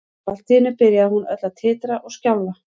Og allt í einu byrjaði hún öll að titra og skjálfa.